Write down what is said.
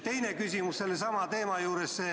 Teine küsimus sellesama teema kohta.